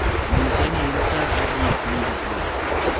nyisa ni en saa adi e piny Japan